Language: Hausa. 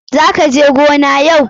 Za ka je gona yau?